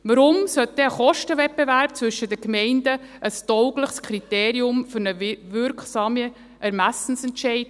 Weshalb sollte denn ein Kostenwettbewerb zwischen den Gemeinden ein taugliches Instrument für einen wirksamen Ermessensentscheid sein?